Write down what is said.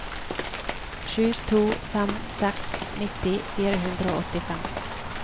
sju to fem seks nitti fire hundre og åttifem